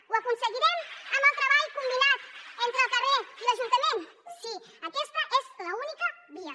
ho aconseguirem amb el treball combinat entre el carrer i l’ajuntament sí aquesta és l’única via